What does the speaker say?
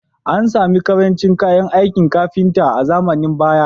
An samu ƙarancin kayan aikin kafinta a zamanin baya